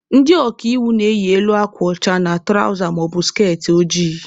Ndị ọka iwu na-eyi elu akwa ọcha na tụrawza maọbụ skertị ojii.